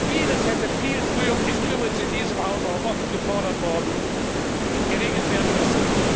Vieles hätte viel früher das ist übrigens in diesem Hause auch oft gefordert worden geregelt werden müssen.